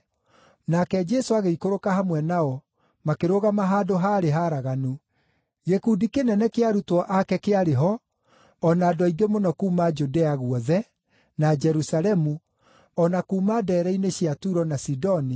Nake Jesũ agĩikũrũka hamwe nao, makĩrũgama handũ haarĩ haraganu. Gĩkundi kĩnene kĩa arutwo ake kĩarĩ ho, o na andũ aingĩ mũno kuuma Judea guothe, na Jerusalemu, o na kuuma ndeere-inĩ cia Turo na Sidoni,